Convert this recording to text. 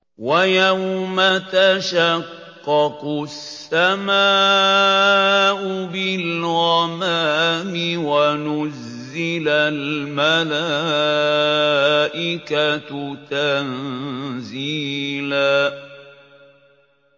وَيَوْمَ تَشَقَّقُ السَّمَاءُ بِالْغَمَامِ وَنُزِّلَ الْمَلَائِكَةُ تَنزِيلًا